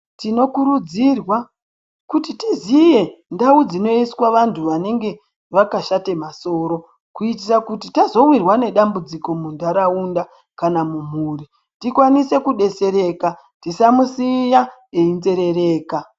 Tino kurudzirwa kuti tiziye ndau dzino iswa vantu vanenge vaka shate masoro kuitira kuti tazo wirwa ne dambudziko mu ndaraunda kana mu mhuri ti kwanise ku detsereka tisamu siya eyi terereka.